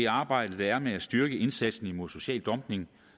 arbejde der er med at styrke indsatsen mod social dumping